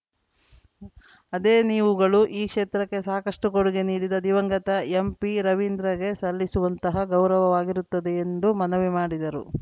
ಅದೇ ನೀವುಗಳು ಈ ಕ್ಷೇತ್ರಕ್ಕೆ ಸಾಕಷ್ಟುಕೊಡುಗೆ ನೀಡಿದ ದಿವಂಗತ ಎಂಪಿರವೀಂದ್ರಗೆ ಸಲ್ಲಿಸುವಂತಹ ಗೌರವವಾಗಿರುತ್ತದೆ ಎಂದು ಮನವಿ ಮಾಡಿದರು